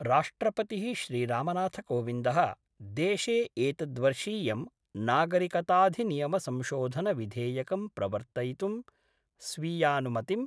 राष्ट्रपतिः श्रीरामनाथ कोविन्दः देशे एतद्वर्षीयं नागरिकताधिनियमसंशोधनविधेयकं प्रवर्तयितुं स्वीयानुमतिं